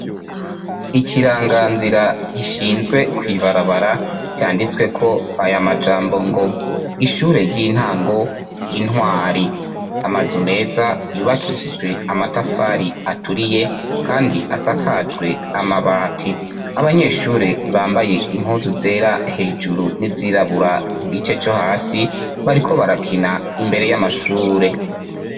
Ikiragazira gishizwe kw'ibarabara cinditsweko aya majambo ngo ishure ry'intango intwari amazu meza yubakishijwe amatafari aturiye kandi asakajwe n'amabati, abanyeshure bambaye impuzu zera hejuru n'izirabura kugice co hasi bariko barakina imbere y'amashure